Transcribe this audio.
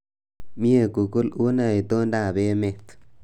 Mie google unee itondoab emet